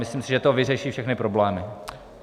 Myslím si, že to vyřeší všechny problémy.